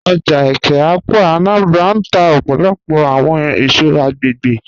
Oja Eke-Awka (Anambra) n tà ọpọlọpọ awọn èṣọ̀ agbẹ̀gbẹ̀